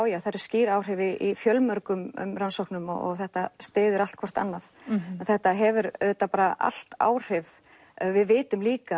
já það eru skýr áhrif í fjölmörgum rannsóknum og þetta styður allt hvort annað en þetta hefur auðvitað bara allt áhrif við vitum líka